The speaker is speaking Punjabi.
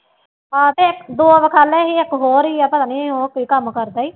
ਆਹੋ ਤੇ ਦੋ ਵਖਾਲੇ ਸੀ ਇੱਕ ਹੋਰ ਹੀ ਆ ਪਤਾ ਨੀ ਉਹ ਕੀ ਕੰਮ ਕਰਦਾ ਸੀ